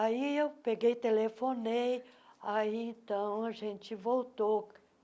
Aí eu peguei, telefonei, aí então a gente voltou.